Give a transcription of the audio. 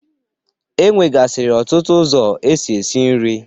E nwegasiri ọtụtụ ụzọ esi esi nri.